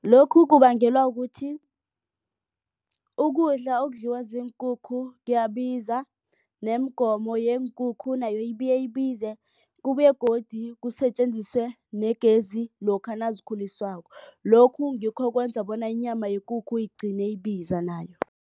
Lokhu kubangelwa kuthi ukudla okudliwa ziinkukhu kuyabiza nemigomo yeenkukhu nayo ibuye ibize kubuye godu kusetjenziswe negezi lokha nazikhuliswako. Lokhu ngikho okwenza bona inyama yekukhu igcine ibiza nayo.